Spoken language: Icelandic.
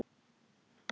Ekki hver, heldur hvað.